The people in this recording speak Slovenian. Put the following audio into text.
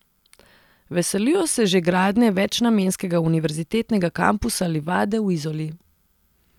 Veselijo se že gradnje večnamenskega univerzitetnega kampusa Livade v Izoli.